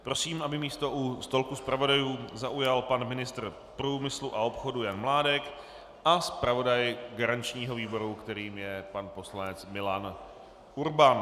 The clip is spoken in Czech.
Prosím, aby místo u stolku zpravodajů zaujal pan ministr průmyslu a obchodu Jan Mládek a zpravodaj garančního výboru, kterým je pan poslanec Milan Urban.